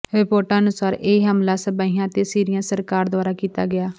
ਰਿਪੋਰਟਾਂ ਅਨੁਸਾਰ ਇਹ ਹਮਲਾ ਸ਼ਾਬੀਹਾ ਅਤੇ ਸੀਰੀਆ ਸਰਕਾਰ ਦੁਆਰਾ ਕੀਤਾ ਗਿਆ